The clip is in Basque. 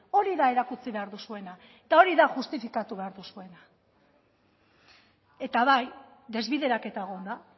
hori da erakutsi behar duzuena eta hori da justifikatu behar duzuena eta bai desbideraketa egon da